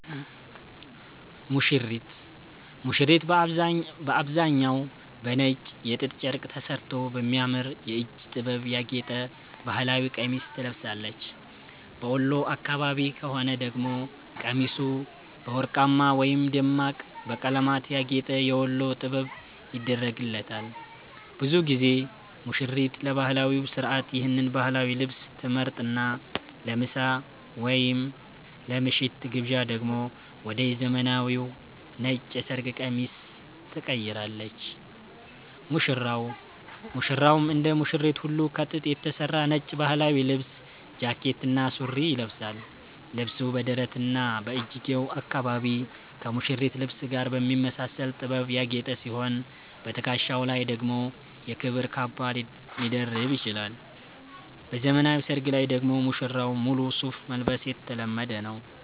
ሙሽሪት፦ ሙሽሪት በአብዛኛው በነጭ የጥጥ ጨርቅ ተሠርቶ በሚያምር የእጅ ጥበብ ያጌጠ ባህላዊ ቀሚስ ትለብሳለች። በወሎ አካባቢ ከሆነ ደግሞ ቀሚሱ በወርቅማ ወይም ደማቅ በቀለማት ያጌጠ "የወሎ ጥበብ" ይደረግላታል። ብዙ ጊዜ ሙሽሪት ለባህላዊው ሥርዓት ይህን ባህላዊ ልብስ ትመርጥና፣ ለምሳ ወይም ለምሽቱ ግብዣ ደግሞ ወደ ዘመናዊው ነጭ የሰርግ ቀሚስ ትቀይራለች። ሙሽራው፦ ሙሽራውም እንደ ሙሽሪት ሁሉ ከጥጥ የተሠራ ነጭ ባህላዊ ልብስ (ጃኬትና ሱሪ) ይለብሳል። ልብሱ በደረትና በእጅጌው አካባቢ ከሙሽሪት ልብስ ጋር በሚመሳሰል ጥበብ ያጌጠ ሲሆን፣ በትከሻው ላይ ደግሞ የክብር ካባ ሊደርብ ይችላል። በዘመናዊ ሰርግ ላይ ደግሞ ሙሽራው ሙሉ ሱፍ መልበስ የተለመደ ነው።